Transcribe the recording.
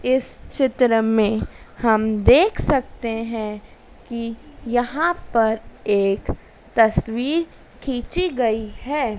इस चित्र में हम देख सकते हैं कि यहां पर एक तस्वीर खींची गई है।